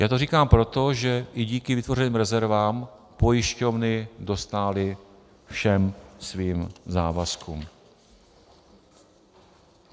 Já to říkám proto, že i díky vytvořeným rezervám pojišťovny dostály všem svým závazkům.